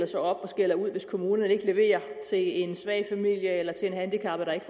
sig op og skælder ud hvis kommunerne ikke leverer til en svag familie eller til en handicappet der ikke